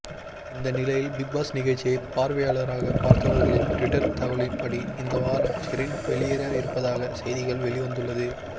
இந்த நிலையில் பிக்பாஸ் நிகழ்ச்சியை பார்வையாளராக பார்த்தவர்களின் டுவிட்டர் தகவலின்படி இந்த வாரம் ஷெரின் வெளியேற இருப்பதாக செய்திகள் வெளிவந்துள்ளது